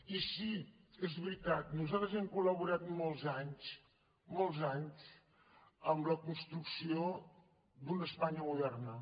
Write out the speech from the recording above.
i sí és veritat nosaltres hem col·laborat molts anys molts anys en la construcció d’una espanya moderna